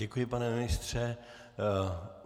Děkuji, pane ministře.